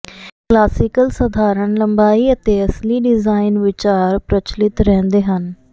classical ਸਾਧਾਰਣ ਲੰਬਾਈ ਅਤੇ ਅਸਲੀ ਡਿਜਾਇਨ ਵਿਚਾਰ ਪ੍ਰਚਲਿਤ ਰਹਿੰਦੇ ਹਨ